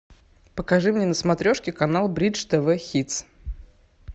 покажи мне на смотрешке канал бридж тв хитс